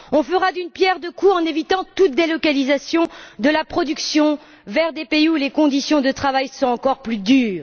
On fera d'une pierre deux coups en évitant toute délocalisation de la production vers des pays où les conditions de travail sont encore plus dures.